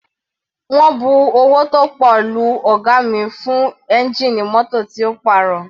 Wọ́n bu owó tó pọ̀ lu ọ̀ga mi fún ẹ́ngìnì mótò tí ó pàrọ̀.